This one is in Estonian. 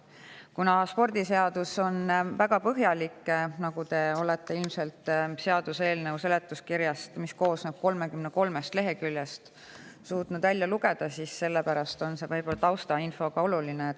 Kuna spordiseadus on väga põhjalik, nagu te olete ilmselt seaduseelnõu seletuskirjast, mis koosneb 33 leheküljest, suutnud välja lugeda, siis on see taustainfo võib-olla ka oluline.